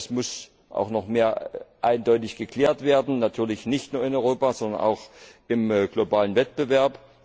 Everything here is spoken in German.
Es muss auch noch mehr eindeutig geklärt werden, natürlich nicht nur in Europa, sondern auch im globalen Wettbewerb.